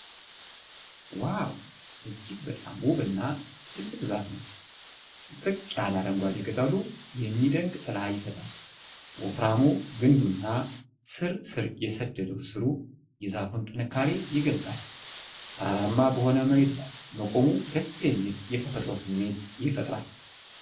ዋው! እጅግ በጣም ውብ እና ትልቅ ዛፍ ነው። ጥቅጥቅ ያለ አረንጓዴ ቅጠሉ የሚደንቅ ጥላ ይሰጣል። ወፍራሙ ግንዱና ስር ስር የሰደደው ሥሩ የዛፉን ጥንካሬ ይገልጻል። ተራራማ በሆነ መሬት ላይ መቆሙ ደስ የሚል የተፈጥሮ ስሜት ይፈጥራል።